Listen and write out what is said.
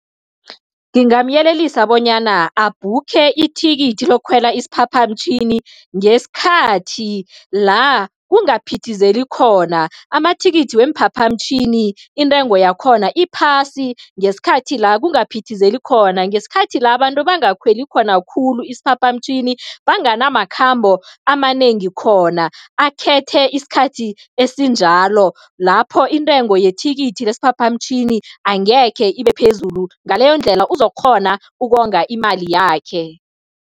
Ngingamyelelisa bonyana abhukhe ithikithi lokukhwela isiphaphamtjhini ngesikhathi la kungaphithizeli khona. amathikithi weemphaphamtjhini, intengo yakhona iphasi ngesikhathi la kungaphithizeli khona, ngesikhathi la abantu bangakhweli khona khulu isiphaphamtjhini, banganamakhambo amanengi khona. Akhethe isikhathi esinjalo, lapho intengo yethikithi lesiphaphamtjhini angekhe ibe phezulu, ngaleyondlela uzokukghona ukonga imali yakhe.